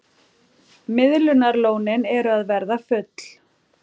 Miðlunarlónin eru að verða full